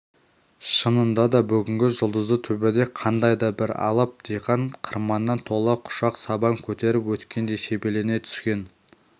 шынында да бүгінгі жұлдызды төбеде қандай да бір алып диқан қырманнан тола құшақ сабан көтеріп өткендей себелене түскен